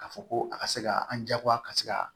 K'a fɔ ko a ka se ka an jagoya ka se ka